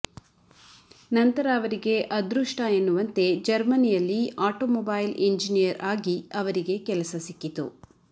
ನಂತರ ಅವರಿಗೆ ಅದೃಷ್ಟ ಎನ್ನುವಂತೆ ಜರ್ಮನಿಯಲ್ಲಿ ಆಟೋಮೊಬೈಲ್ ಇಂಜಿನಿಯರ್ ಆಗಿ ಅವರಿಗೆ ಕೆಲಸ ಸಿಕ್ಕಿತು